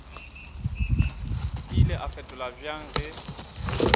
ile a fetola bjang ge